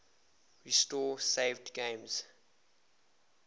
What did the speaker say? restore saved games